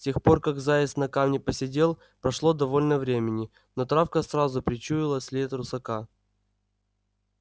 с тех пор как заяц на камне посидел прошло довольно времени но травка сразу причуяла след русака